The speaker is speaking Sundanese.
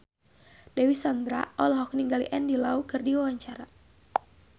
Dewi Sandra olohok ningali Andy Lau keur diwawancara